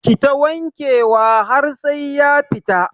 Kita wanke wa har sai ya fita